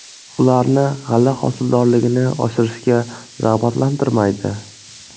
Ularni g‘alla hosildorligini oshirishga rag‘batlantirmaydi.